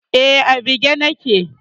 Eh, a bige nake